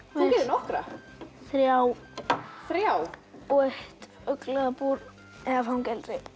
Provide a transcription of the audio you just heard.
þú gerðir nokkra þrjá þrjá og fuglabúr eða fangelsi